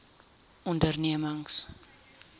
ondernemings